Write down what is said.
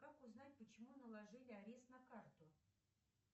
как узнать почему наложили арест на карту